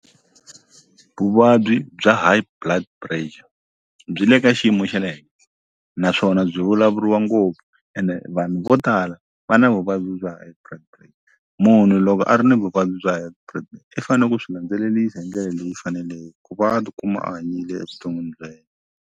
Vuvabyi bya High Blood Pressure byi le ka xiyimo xa le henhla naswona byi vulavuriwa ngopfu ene vanhu vo tala va na vuvabyi bya High Blood munhu loko a ri ni vuvabyi bya High i fane ku swi landzelelisa hi ndlela leyi faneleke ku va a tikuma a hanyile evuton'wini bya yena.